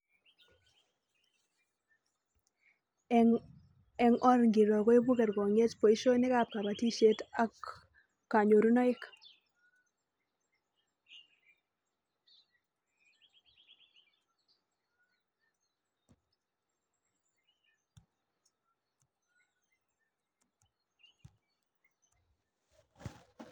Reading the prompt instead of answering